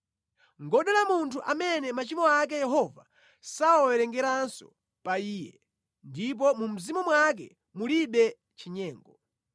Ngodala munthu amene machimo ake Yehova sawawerengeranso pa iye ndipo mu mzimu mwake mulibe chinyengo.